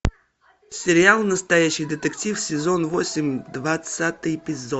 сериал настоящий детектив сезон восемь двадцатый эпизод